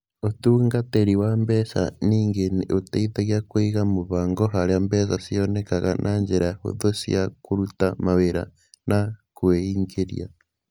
Ũtungatĩri wa mbeca ningĩ nĩ ũteithagia kũiga mũbango harĩa mbeca cionekaga na njĩra hũthũ cia kũruta mawĩra na kwĩingĩria.